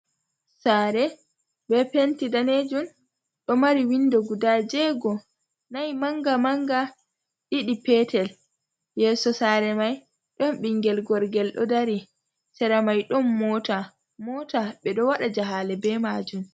Sare be penti danejum ɗo mari window guda jego nai manga manga, ɗiɗi petel, yeso sare mai ɗon ɓingel gorgel ɗo dari, sera mai ɗon mota, mota ɓe ɗo waɗa jahale be majum.